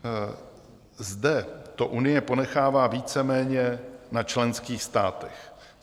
Zde to Unie ponechává víceméně na členských státech.